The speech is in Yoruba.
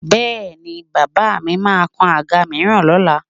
Bẹ́ẹ̀ni, bàbà mi máa kan àga mìíràn lọ́la?